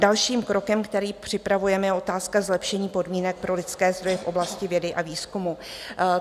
Dalším krokem, který připravujeme, je otázka zlepšení podmínek pro lidské zdroje v oblasti vědy a výzkumu.